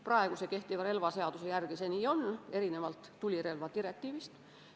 Praegu kehtiva relvaseaduse järgi see nii on, erinevalt tulirelvadirektiivist.